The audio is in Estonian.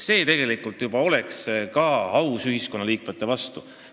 See oleks aus ühiskonnaliikmete vastu.